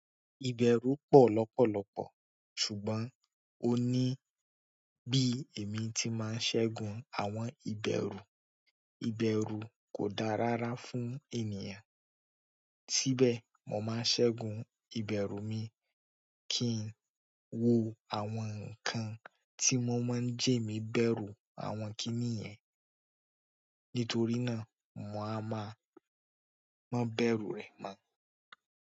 Ìbèrù pọ̀ lọ́pọ̀lopọ̀ ṣùgbọ́n ó ní bí èmi ti máa ń ṣẹ́gun àwọn ìbèrù. Ìbẹ̀rù kò da rárá fún ènìyàn. Síbẹ̀, mo máa ń ṣẹ́gun ìbèrù mi kí n wo àwọn nǹkan tí wọ́n máa ń jé èmí bẹ̀rù àwọn kiní yẹn. Nítorí náà, mo a máa mó bẹ́rù rẹ̀ mọ́.